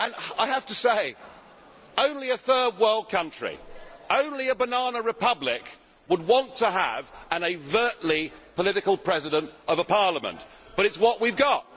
I have to say that only a third world country, only a banana republic, would want to have an overtly political President of a parliament, but that is what we have got.